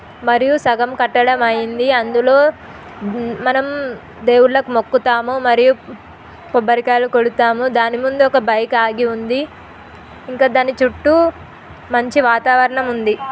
మరియు సగం కట్టడం అయింది అందులో మనం దేవుళ్లకు మొక్కుతాము మరియు కొబ్బరికాయలు కొడతాము దాని ముందు ఒక బైక్ ఆగి ఉంది ఇంకా దాని చుట్టూ మంచి వాతావరణం ఉంది.